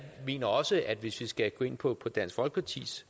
mener også hvis vi skal gå ind på dansk folkepartis